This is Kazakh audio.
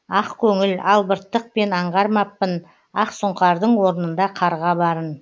ақкөңіл албырттықпен аңғармаппын ақсұңқардың орнында қарға барын